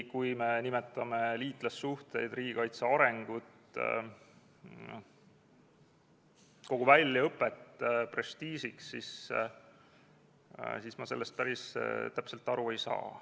Kui me nimetame liitlassuhteid, riigikaitse arengut, kogu väljaõpet prestiižiks, siis ma sellest päris täpselt aru ei saa.